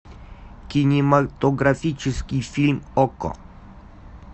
кинематографический фильм окко